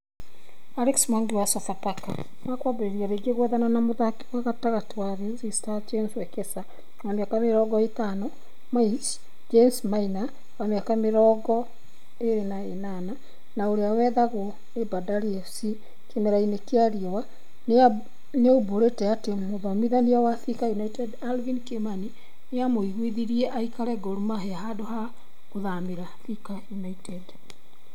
Alex Mwangi wa Sofapaka nĩmakwambia rĩngĩ gwethana na mũthaki wa gatagati wa ulinzi stars James Wekesa, wa mĩaka mĩrongo ĩtano, (Maich) Julius Maina , wa mĩaka mĩrongo ĩrĩ na ĩnana, na urĩa wethagwo nĩ Bandari FC kĩmera-inĩ kĩa riũa nĩaumbũrĩte atĩ mũthomithania wa Thika United Alvin Kimani nĩamũiguithirie aikare Gor Mahia handũ ha gũthamĩra Thika United